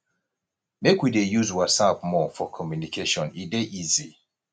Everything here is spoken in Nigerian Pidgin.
make we dey use whatsapp more for communication e dey easy